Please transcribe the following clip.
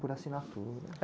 Por assinatura.